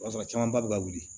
O b'a sɔrɔ camanba bɛ ka wuli